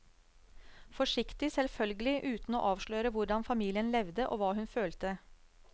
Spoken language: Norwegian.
Forsiktig, selvfølgelig, uten å avsløre hvordan familien levde og hva hun følte.